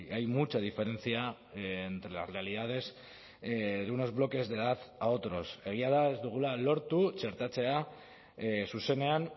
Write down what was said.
hay mucha diferencia entre las realidades de unos bloques de edad a otros egia da ez dugula lortu txertatzea zuzenean